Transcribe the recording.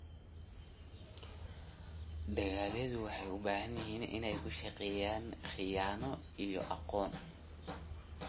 Dalagyadu waxay u baahan yihiin inay ku shaqeeyaan khiyaano iyo aqoon.